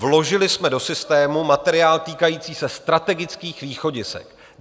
Vložili jsme do systému materiál týkající se strategických východisek.